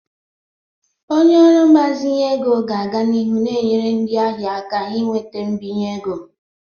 Onye ọrụ mgbazinye ego ga-aga n'ihu na-enyere ndị ahịa aka inweta mbinye ego.